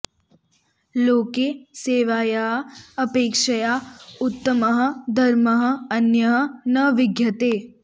लोके सेवायाः अपेक्षया उत्तमः धर्मः अन्यः न विद्यते